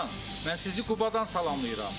Mən sizi Qubadan salamlayıram.